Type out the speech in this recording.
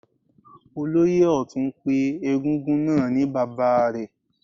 Olóyè Ọtun pé egúngún náà ni bàbá rẹ̀.